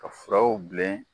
Ka furaw bilen